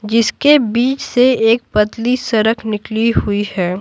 जिसके बीच से एक पतली सड़क निकली हुई है।